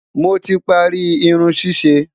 moti parí Irun ṣiṣe